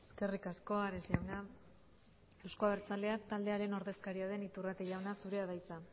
eskerrik asko ares jauna euzko abertzaleak taldearen ordezkaria den iturrate jauna zurea da hitza